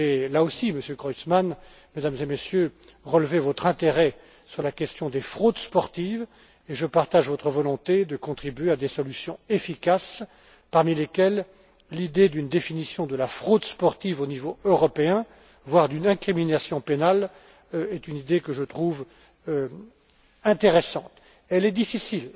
Là aussi, Monsieur Creutzmann, Mesdames et Messieurs, j'ai relevé votre intérêt sur la question des fraudes sportives et je partage votre volonté de contribuer à des solutions efficaces parmi lesquelles l'idée d'une définition de la fraude sportive au niveau européen, voire d'une incrimination pénale, idée que je trouve intéressante mais difficile.